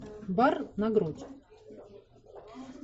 бар на грудь